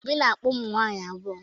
Obi na-akpa ụmụnwaanyị abụọ.